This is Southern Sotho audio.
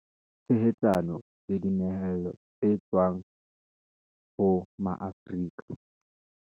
Tshehetsano le dinyehelo tse tswang ho Maafrika